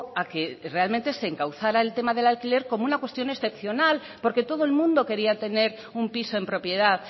a que realmente se encauzara el tema del alquiler como una cuestión excepcional porque todo el mundo quería tener un piso en propiedad